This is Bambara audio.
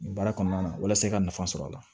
Nin baara kɔnɔna na walasa i ka nafa sɔrɔ a la